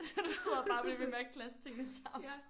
Så du sidder bare og bliver ved med at klaske tingene sammen